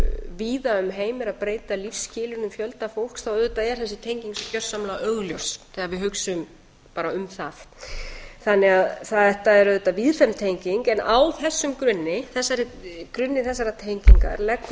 víða um heim eru að breyta lífsskilyrðum fjölda fólks þá auðvitað er þessi tenging svo gjörsamlega augljós þegar við hugsum bara um það þetta er auðvitað víðfeðm tenging en á þessum grunni grunni þessarar tengingar leggur